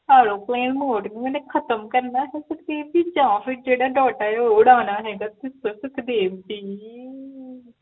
Airplane mode ਮੈਨੇ ਖ਼ਤਮ ਕਰਨਾ ਹੈ ਸੁਖਦੇਵ ਜੀ ਜਾ ਫੇਰ ਜੇਹੜਾ Data data ਹੈ ਓਹ ਉਡਾਨਾ ਹੈਗਾ ਤੁਸੀਂ ਦੱਸੋ ਸੁਖਦੇਵ ਜੀ